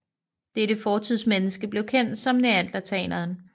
Dette fortidsmenneske blev kendt som neandertaleren